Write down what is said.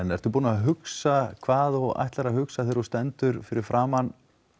ertu búinn að hugsa hvað þú ætlar að hugsa þegar þú stendur fyrir framan